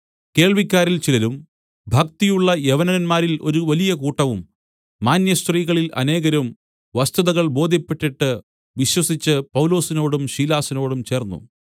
കേൾവിക്കാരിൽ ചിലരും ഭക്തിയുള്ള യവനന്മാരിൽ ഒരു വലിയ കൂട്ടവും മാന്യസ്ത്രീകളിൽ അനേകരും വസ്തുതകൾ ബോദ്ധ്യപ്പെട്ടിട്ട് വിശ്വസിച്ച് പൗലൊസിനോടും ശീലാസിനോടും ചേർന്നു